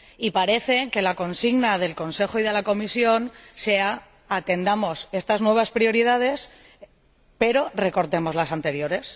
Y parece que la consigna del Consejo y de la Comisión sea atendamos estas nuevas prioridades pero recortemos las anteriores.